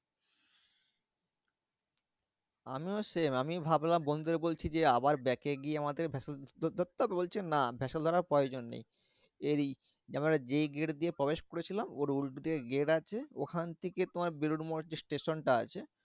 আমিও same আমি ভাবলাম বন্ধুদের বলছি যে আবার back এ গিয়ে আমাদের vessel ধরতে হবে? বলছে না vessel ধরার প্রয়োজন নেই। এরই এইবারে যেই gate দিয়ে প্রবেশ করেছিলাম, ওর উল্টো দিকে gate আছে ওখান থেকে তোমার বেলুড় মঠ যে স্টেশনটা আছে